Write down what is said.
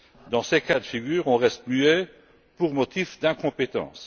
Dans ces cas de figure, on reste muet pour motif d'incompétence.